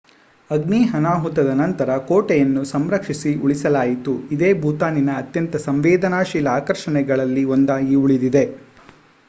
ಅಗ್ನಿ ಅನಾಹುತದ ನಂತರ ಕೋಟೆಯನ್ನು ಸಂರಕ್ಷಿಸಿ ಉಳಿಸಲಾಯಿತು ಇದೇ ಭೂತಾನಿನ ಅತ್ಯಂತ ಸಂವೇದನಾಶೀಲ ಆಕರ್ಷಣೆಗಳಲ್ಲಿ ಒಂದಾಗಿ ಉಳಿದಿದೆ